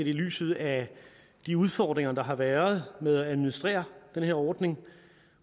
i lyset af de udfordringer der har været med at administrere den her ordning